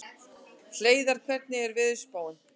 Hleiðar, hvernig er veðurspáin?